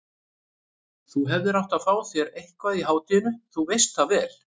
Þú hefðir átt að fá þér eitthvað í hádeginu, þú veist það vel.